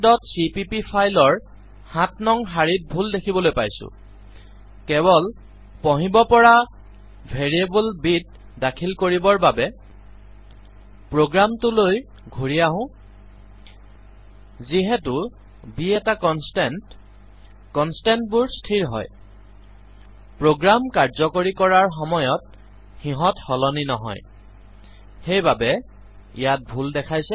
cpp file ৰ ৭ নং শাৰীত ভুল দেখিবলৈ পাইছো কেৱ্ল পঢ়িব পৰা ভেৰিয়েবল ব ত দাখিল কৰিবৰ বাবে প্ৰোগ্ৰামটোলৈ ঘূৰি আহো যিহেতু ব এটা কনষ্টেন্ত কনষ্টেন্ত বোৰ স্থিৰ হয় প্ৰোগ্ৰাম কাৰ্যকৰী কৰাৰ সময়ত সিহঁত সলনি নহয় সেইবাবে ইয়াত ভুল দেখাইছে